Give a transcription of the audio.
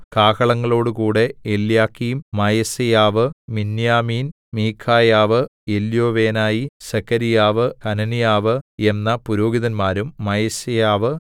കാഹളങ്ങളോടുകൂടെ Eliakim Maaseiah Miniamin Micaiah Elioenai Zechariah Hananiah എന്ന പുരോഹിതന്മാരും മയസേയാവ്